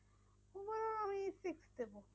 Overall আমি six দেব।